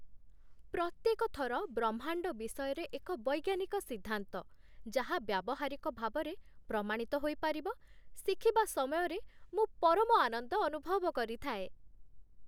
ପ୍ରତ୍ୟେକ ଥର ବ୍ରହ୍ମାଣ୍ଡ ବିଷୟରେ ଏକ ବୈଜ୍ଞାନିକ ସିଦ୍ଧାନ୍ତ, ଯାହା ବ୍ୟାବହାରିକ ଭାବରେ ପ୍ରମାଣିତ ହୋଇପାରିବ, ଶିଖିବା ସମୟରେ ମୁଁ ପରମ ଆନନ୍ଦ ଅନୁଭବ କରିଥାଏ।